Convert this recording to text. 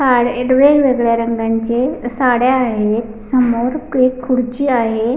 वेगल्या रंगांचे साड्या आहेत समोर ह एक खुर्ची आहे.